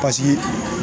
Paseke